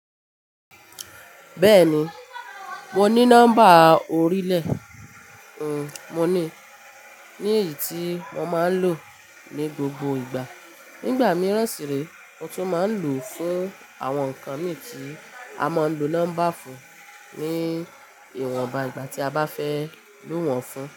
Bẹ́ẹ̀ni, mo ní nọ́mbà orílẹ̀, mo níi, ní èyí tí mo máa ń lò ní gbogbo ìgbà. Nígbà mìíràn sì ree, mo tún máa ń lò fún àwọn nǹkan mi tí a máa ń lo nọ́mbà fún ní ìwọ̀nba ìgbà tí a bá fẹ́ lò wọ́n fún.